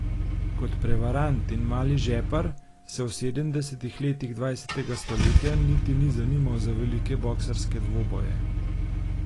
Kot prevarant in mali žepar se v sedemdesetih letih dvajsetega stoletja niti ni zanimal za velike boksarske dvoboje.